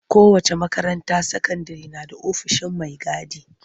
Kowace makaranta sakandire na da ofishin mai gadi.